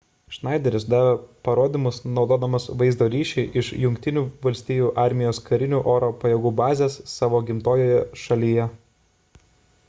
schneideris davė parodymus naudodamas vaizdo ryšį iš jungtinių valstijų armijos karinių oro pajėgų bazės savo gimtojoje šalyje